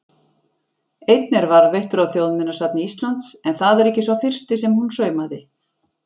Einn er varðveittur á Þjóðminjasafni Íslands, en það er ekki sá fyrsti sem hún saumaði.